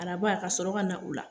Araba kasɔrɔ kana o la